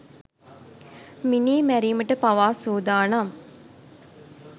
මිනී මැරිමට පවා සූදානම්.